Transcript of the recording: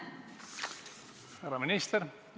Härra minister!